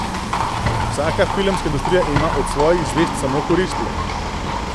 Vsaka filmska industrija ima od svojih zvezd samo koristi.